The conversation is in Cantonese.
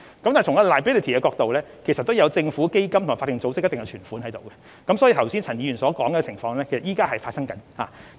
但是，從 liability 的角度，當中也有政府基金和法定組織的存款，所以現時已存在陳議員剛才所說的情況。